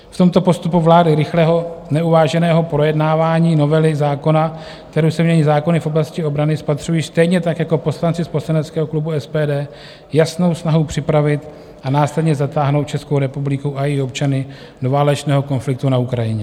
V tomto postupu vlády, rychlého neuváženého projednávání novely zákona, kterou se mění zákony v oblasti obrany, spatřují stejně tak jako poslanci z poslaneckého klubu SPD jasnou snahu připravit a následně zatáhnout Českou republiku a její občany do válečného konfliktu na Ukrajině.